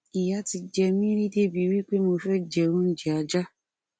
ìyà ti jẹ mí rí débi wí pé mo fẹ jẹ oúnjẹ ajá